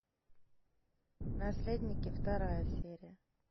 наследники вторая серия